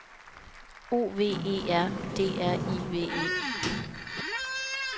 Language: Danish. O V E R D R I V E